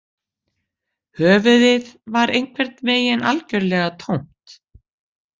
Höfuðið var einhvern veginn algjörlega tómt